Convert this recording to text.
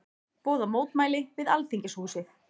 Boða mótmæli við Alþingishúsið